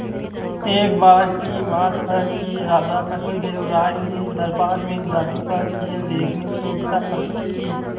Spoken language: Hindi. एक बार की बात है कि राजा कृष्णदेव राय ने दरबार में जादू का खेल देखने की इच्छा प्रकट की